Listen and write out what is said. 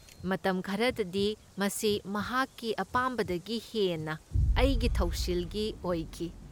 ꯃꯇꯝ ꯈꯔꯗꯗꯤ ꯃꯁꯤ ꯃꯍꯥꯛꯀꯤ ꯑꯄꯥꯝꯕꯗꯒꯤ ꯍꯦꯟꯅ ꯑꯩꯒꯤ ꯊꯧꯁꯤꯜꯒꯤ ꯑꯣꯏꯈꯤ꯫